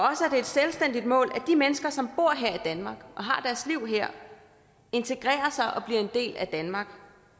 det et selvstændigt mål at de mennesker som bor her i danmark og har deres liv her integrerer sig og bliver en del af danmark